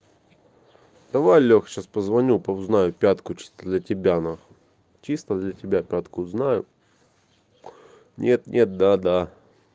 давай леха сейчас позвоню узнаю пятку чисто для тебя н чисто для тебя пятку знаю нет-нет да-да